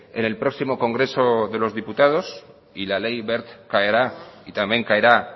en el próximo congreso de los diputados y la ley wert caerá y también caerá